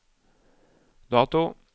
dato